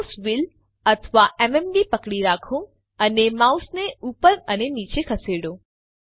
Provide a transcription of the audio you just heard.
mouse wheel અથવા MMB પકડી રાખો અને માઉસ ઉપર અને નીચે ખસેડો